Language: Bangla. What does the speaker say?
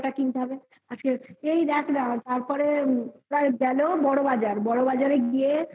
কিনতে হবে আজকে এই দেখ না তারপরে প্রায় গেল বড়বাজার বড়বাজারে গিয়ে